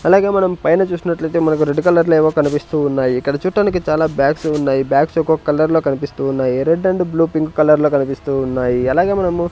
అలాగే మనం పైన చూసినట్లు అయితే మనకు రెడ్ కలర్ లో ఏవో కనిపిస్తూ ఉన్నాయి ఇక్కడ చూడటానికి చాలా బ్యాగ్స్ ఉన్నాయి బ్యాగ్స్ ఒక్కొక్క కలర్ లో కనిపిస్తూ ఉన్నాయి red and blue pink colour లో కనిపిస్తూ ఉన్నాయి. అలాగే మనం --